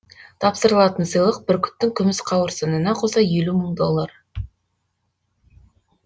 тапсырылатын сыйлық бүркіттің күміс қауырсынына қоса елу мың доллар